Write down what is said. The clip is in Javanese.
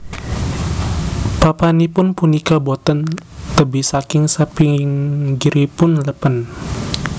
Papanipun punika boten tebih saking sapinggiripun lèpèn